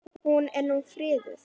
Hún er nú friðuð.